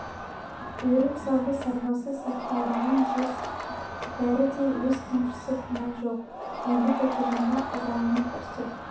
өрім сабы сарбасы сапқа ораған жез бәрі де өз қамшысы күмән жоқ енді тәкежанға ызаланып ұрсып